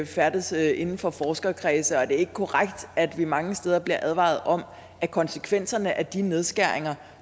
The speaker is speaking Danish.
færdes inden for forskerkredse og er det ikke korrekt at vi mange steder bliver advaret om at konsekvenserne af de nedskæringer